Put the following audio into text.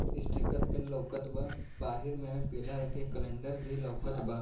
Sticker pin लउकत बा बाहिर महे पिला रंग के कैलेंडर भी लउकत बा।